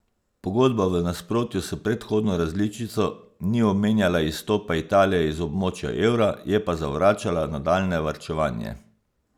Pogodba v nasprotju s predhodno različico ni omenjala izstopa Italije iz območja evra, je pa zavračala nadaljnje varčevanje.